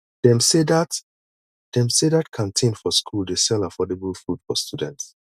dem sey dat dem sey dat canteen for school dey sell affordable food for students